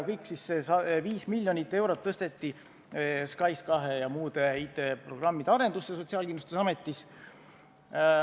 Kõik see 5 miljonit eurot tõsteti siis SKAIS2 ja muude IT-programmide arendusse Sotsiaalkindlustusametis.